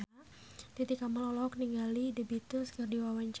Titi Kamal olohok ningali The Beatles keur diwawancara